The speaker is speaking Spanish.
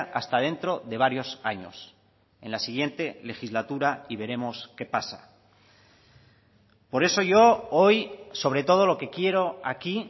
hasta dentro de varios años en la siguiente legislatura y veremos qué pasa por eso yo hoy sobre todo lo que quiero aquí